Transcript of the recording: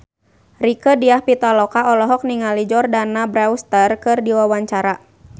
Rieke Diah Pitaloka olohok ningali Jordana Brewster keur diwawancara